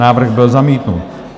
Návrh byl zamítnut.